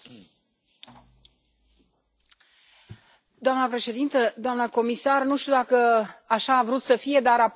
Doamnă președintă, doamnă comisar, nu știu dacă așa s a vrut să fie, dar raportul vine foarte bine după celălalt raport dezbătut.